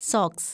socks